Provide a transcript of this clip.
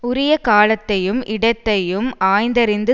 உரிய காலத்தையும் இடத்தையும் ஆய்ந்தறிந்து